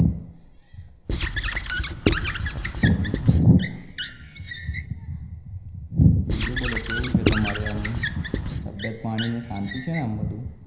બીજું બોલો કેવું છે તમારે એમ તબિયત પાણી ને શાંતિ છે ને આમ બધું